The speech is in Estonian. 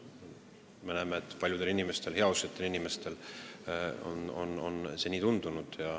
Me näeme, et paljudele heausksetele inimestele on see nii tundunud.